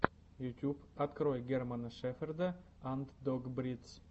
ютьюб открой германа шеферда анд дог бридс